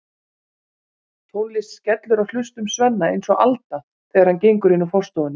Tónlist skellur á hlustum Svenna eins og alda þegar hann gengur inn úr forstofunni.